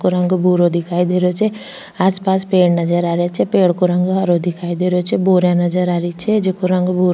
इको रंग भूरो दिखाई दे रहियो छे आस पास पेड़ नजर आ रिया छे पेड़ को रंग हरो दिखाई दे रियो छे बोरिया नजर आ रही छे जेको रंग भूरो --